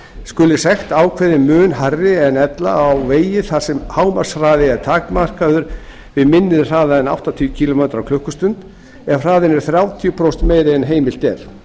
skuli sekt ákveðin mun hærri en ella á vegi þar sem hámarkshraði er takmarkaður við minni hraða en áttatíu kílómetra á klukkustund ef hraðinn er þrjátíu prósentum meiri en heimilt er